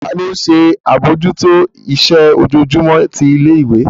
Tani ó ń ṣe àbójútó iṣẹ́ ojoojúmọ́ ti ilé ìwé?